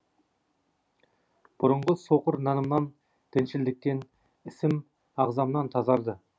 бұрынғы соқыр нанымнан діншілдіктен ісім ағзамнан тазарды